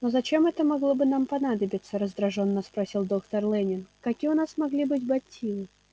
но зачем это могло бы нам понадобиться раздражённо спросил доктор лэннинг какие у нас могли быть мотивы